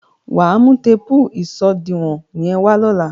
Wà á mú téèpù ìṣòdiwọ̀n yẹ́n wá lóla.